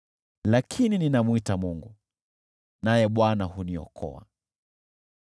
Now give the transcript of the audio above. Lakini ninamwita Mungu, naye Bwana huniokoa.